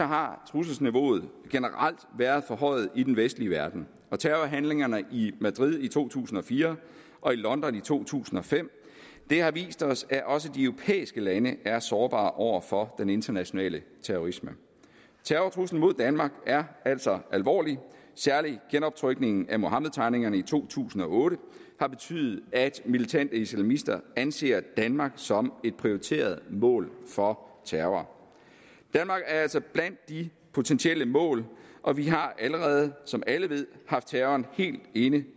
har trusselsniveauet generelt været forhøjet i den vestlige verden og terrorhandlingerne i madrid i to tusind og fire og i london i to tusind og fem har vist os at også de europæiske lande er sårbare over for den internationale terrorisme terrortruslen mod danmark er altså alvorlig særlig genoptrykningen af muhammedtegningerne i to tusind og otte har betydet at militante islamister anser danmark som et prioriteret mål for terror danmark er altså blandt de potentielle mål og vi har allerede som alle ved haft terroren helt inde